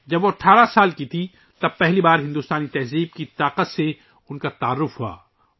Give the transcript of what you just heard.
جب وہ 18 سال کی تھیں ، تو انہیں پہلی مرتبہ بھارتی ثقافتی کی قوت کے تعارف ہوا